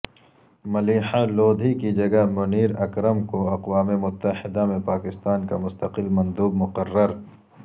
ملیحہ لودھی کی جگہ منیر اکرم کو اقوام متحدہ میں پاکستان کا مستقل مندوب مقرر